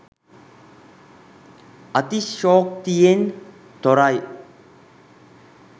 අතිශයෝක්තියෙන් තොරයි.